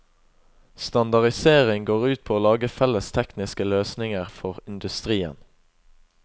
Standardisering går ut på å lage felles tekniske løsninger for industrien.